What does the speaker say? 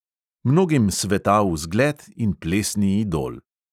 Mnogim svetal zgled in plesni idol.